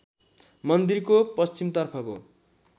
मन्दिरको पश्चिमतर्फको